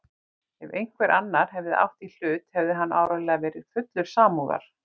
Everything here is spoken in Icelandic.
Ef einhver annar hefði átt í hlut hefði hann áreiðanlega verið fullur samúðar.